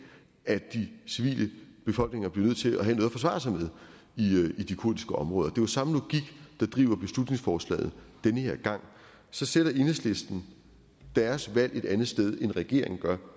at de civile befolkninger blev nødt til at have noget at forsvare sig med i de kurdiske områder det jo samme logik der driver beslutningsforslaget denne gang så sætter enhedslisten deres valg et andet sted end regeringen gør